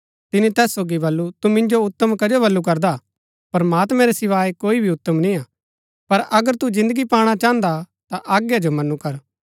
तिनी तैस सोगी बल्लू तु मिन्जो उत्तम कजो बल्लू करदा प्रमात्मैं रै सिवाये कोई भी उत्तम निय्आ पर अगर तू जिन्दगी पाणा चाहन्दा ता ता आज्ञा जो मनु कर